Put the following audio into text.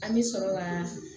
An bɛ sɔrɔ ka